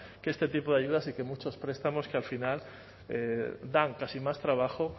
que este tipo de ayudas y que muchos prestamos que al final dan casi más trabajo